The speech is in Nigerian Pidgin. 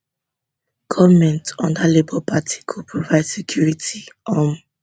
goment under labour party go provide security um